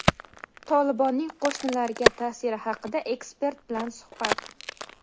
"Tolibon"ning qo‘shnilarga ta’siri haqida ekspert bilan suhbat.